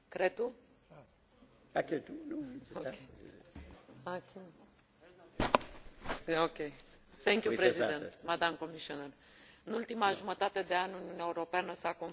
În ultima jumătate de an, Uniunea Europeană s a confruntat cu o serie de provocări care au ridicat semne de întrebare cu privire la rolul, coeziunea și capacitatea sa de acțiune și de reacție.